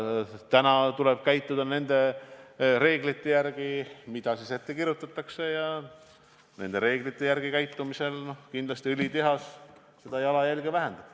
Täna tuleb käituda nende reeglite järgi, mida ette kirjutatakse, ja nende reeglite järgi toimimisel õlitehas seda jalajälge kindlasti vähendab.